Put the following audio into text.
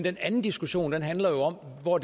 en anden diskussion handler om hvor